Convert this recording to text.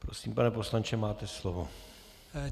Prosím, pane poslanče, máte slovo.